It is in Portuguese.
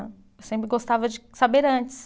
Eu sempre gostava de saber antes.